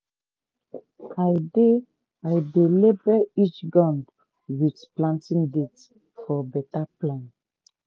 i dey i dey label each gourd with planting date for better plan.